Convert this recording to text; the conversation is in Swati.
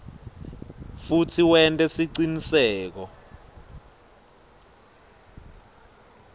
futsi wente siciniseko